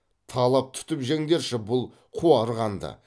талап түтіп жеңдерші бұл қуарғанды